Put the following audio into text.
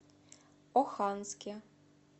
оханске